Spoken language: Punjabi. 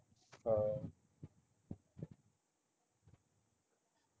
ਹਾਂ